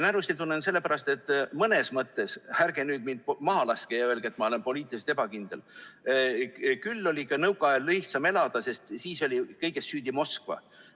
Närusti tunnen sellepärast, et mõnes mõttes – ärge nüüd mind maha laske ja öelge, et ma olen poliitiliselt ebakindel – oli nõukaajal lihtsam elada, sest siis oli kõiges süüdi Moskva.